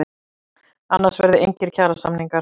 Annars verði engir kjarasamningar